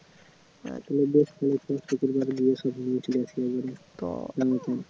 তাহলে